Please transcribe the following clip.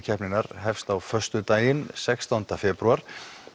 keppninnar hefst á föstudaginn sextán febrúar